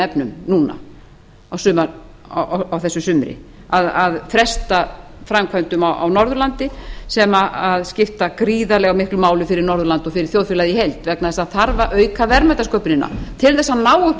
efnum núna á þessu sumri að fresta framkvæmdum á norðurlandi sem skipta gríðarlega miklu máli fyrir norðurland og fyrir þjóðfélagið í heild vegna þess að það þarf að auka verðmætasköpunina til þess að